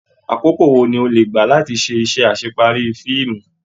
Àkókò wò ní o le gbá láti se isẹ́ asepari fíìmù?